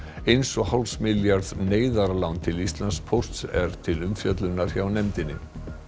eins og hálfs milljarðs neyðarlán til Íslandspósts er til umfjöllunar hjá nefndinni